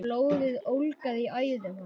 Blóðið ólgaði í æðum hans.